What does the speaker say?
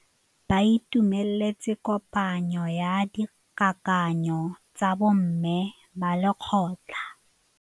Ba itumeletse kôpanyo ya dikakanyô tsa bo mme ba lekgotla.